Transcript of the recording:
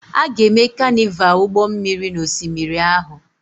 A ga-eme Carnival ụgbọ mmiri n'osimiri ahụ.